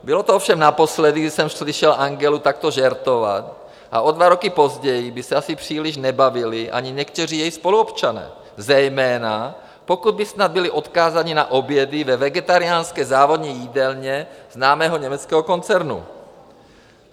Bylo to ovšem naposledy, kdy jsem slyšel Angelu takto žertovat, a o dva roky později by se asi příliš nebavili ani někteří její spoluobčané, zejména pokud by snad byli odkázáni na obědy ve vegetariánské závodní jídelně známého německého koncernu.